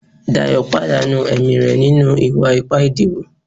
Dayo pàdánù ẹ̀mí re ninu iwa-ipa ìdíbò